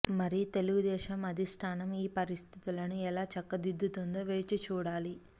మరి తెలుగు దేశం అధిష్టానం ఈ పరిస్థితులను ఎలా చక్కదిద్దుతుందో వేచి చూడాలి